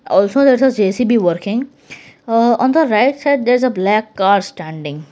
also there is a J_C_B working uh on the right side there is a black car standing.